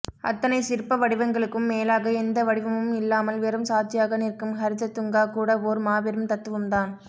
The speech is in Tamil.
அத்தனை சிற்ப வடிவங்களுக்கும் மேலாக எந்த வடிவமும் இல்லாமல் வெறும் சாட்சியாக நிற்கும் ஹரிததுங்கா கூட ஓர் மாபெரும் தத்துவம்தான்